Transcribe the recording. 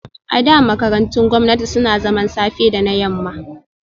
A da, makarantun gwamnati suna zaman safe da na yamma